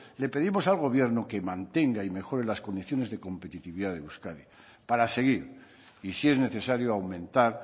le pedimos al gobierno que mantenga y mejore las condiciones de competitividad de euskadi para seguir y si es necesario aumentar